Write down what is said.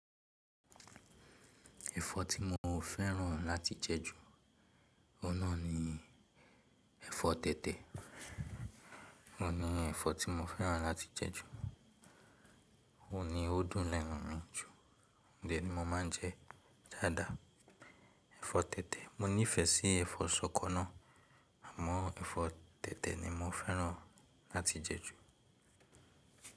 Ẹ̀fọ́ tí mo fẹ́ràn láti jẹ ju, ọ́hun nà ni ẹ̀fọ́ tètè. Ohun ní ẹ̀fọ́ tí mo fẹ́ràn láti jẹ ju, òhun ni ó dùn lẹ́nu mi jù, òhun de ni mo máa ń jẹ jáàdá. Ẹ̀fọ́ tètè, mo nífẹẹ sí ẹ̀fọ́ ṣọkọ náà àmọ́ ẹ̀fọ́ tètè ni mo fẹ́ràn láti jẹ ju.